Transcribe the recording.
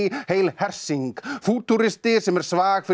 heil hersing fútúristi sem er svag fyrir